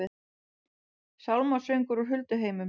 Sálmasöngur úr hulduheimum